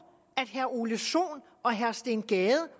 at herre ole sohn og herre steen gade